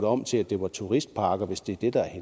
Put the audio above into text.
om til at det var turistparker hvis det er det der er